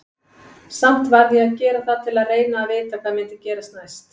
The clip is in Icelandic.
Samt varð ég að gera það til að reyna að vita hvað myndi gerast næst.